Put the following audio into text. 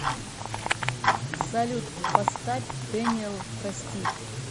салют поставь дэниэл прости